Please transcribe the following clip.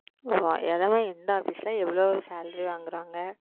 ஓ இது எல்லாம் எந்த Office ல எவ்வளவு Salary வாங்குறாங்க?